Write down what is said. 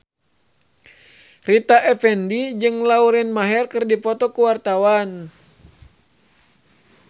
Rita Effendy jeung Lauren Maher keur dipoto ku wartawan